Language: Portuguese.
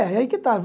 É, aí que estava.